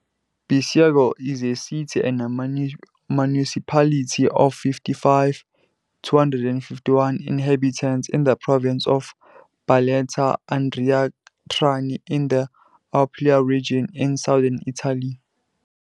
Bisceglie is a city and municipality of 55,251 inhabitants in the province of Barletta-Andria-Trani, in the Apulia region, in southern Italy.